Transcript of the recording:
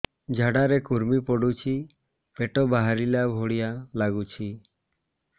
ଝାଡା ରେ କୁର୍ମି ପଡୁଛି ପେଟ ବାହାରିଲା ଭଳିଆ ଲାଗୁଚି